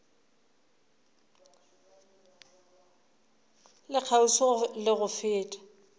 le kgauswi le go fela